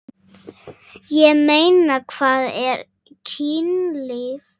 Ég meina, hvað er kynlíf?